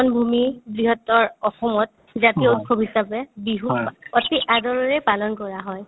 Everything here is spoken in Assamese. মিলনভূমি বৃহত্তৰ অসমত জাতীয় উৎসৱ হিচাপে বিহু অতি আদৰেৰে পালন কৰা হয়